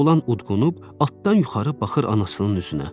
Oğlan udqunub atdan yuxarı baxır anasının üzünə.